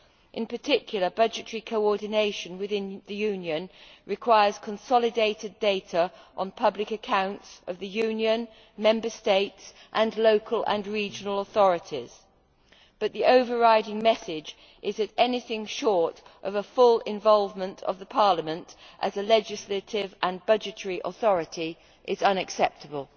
In particular, budgetary coordination within the Union requires consolidated data on public accounts of the Union, Member States, and local and regional authorities, but the overriding message is that anything short of the full involvement of Parliament as a legislative and budgetary authority is unacceptable.